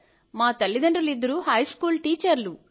మా తల్లిదండ్రులిద్దరూ హైస్కూల్ టీచర్లు